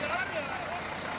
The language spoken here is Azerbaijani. Sürü, yavaş, yavaş.